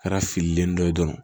Kɛra fililen dɔ ye dɔrɔn